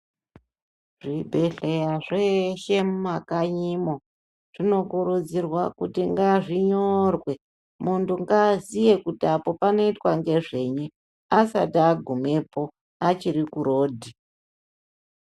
Zvibhedhleya zveshe mumakanyimwo zvinokurudzirwa kuti ngazvinyorwe munthu ngaaziye kuti apo panoitwe ngezvenyi asati agumepo achiri kurodhi.